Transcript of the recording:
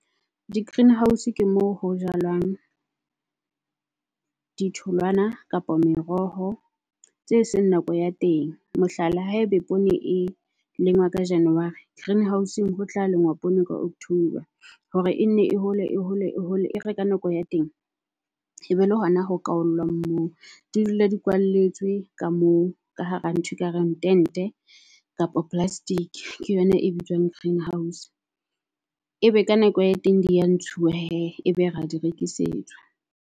Di greenhouse ke moo ho jalwang di tholwana kapa meroho tse seng nako ya teng. Mohlala ha ebe poone e lengwa ka January greenhouse-ong ho tla lenngwa poone ka October. Hore e nne e hole e hole e hole e re ka nako ya teng e be le hona ho kwaollwang moo. Di dula di kwalletswe ka moo ka hara nthwe e ka reng tente kapa plastic. Ke yona e bitswang greenhouse. Ebe ka nako ya teng di ya ntshuwe hee e be ra di rekisetswa.